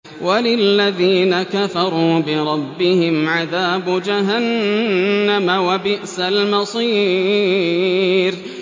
وَلِلَّذِينَ كَفَرُوا بِرَبِّهِمْ عَذَابُ جَهَنَّمَ ۖ وَبِئْسَ الْمَصِيرُ